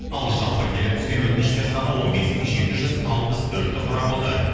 ал жалпы келіп түскен өтініштер саны он бес мың жеті жүз алпыс төртті құрап отыр